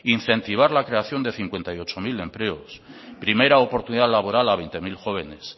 incentivar la creación de cincuenta y ocho mil empleos primera oportunidad laboral a veinte mil jóvenes